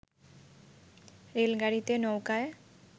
রেলগাড়িতে, নৌকোয়